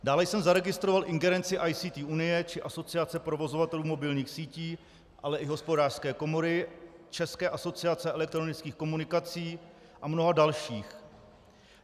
Dále jsem zaregistroval ingerenci ICT Unie či Asociace provozovatelů mobilních sítí, ale i Hospodářské komory, České asociace elektronických komunikací a mnoha dalších.